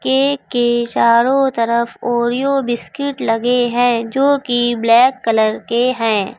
Cake के चारों तरफ ओरियो बिस्कीट लगे है जो कि ब्लैक कलर के है।